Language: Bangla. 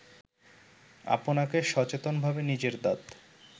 আপনাকে সচেতনভাবে নিজের দাঁত